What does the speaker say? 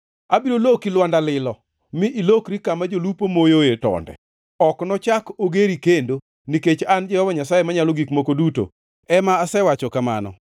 Abiro loki lwanda lilo, mi ilokri kama jolupo moyoe tonde. Ok nochak ogeri kendo, nikech an Jehova Nyasaye Manyalo Gik Moko Duto ema asewacho kamano.